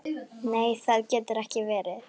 Nei það getur ekki verið.